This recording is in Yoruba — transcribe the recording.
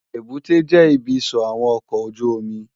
Ébùté jè ibi isò áwòn òkò ójùómì